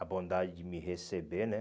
A bondade de me receber, né?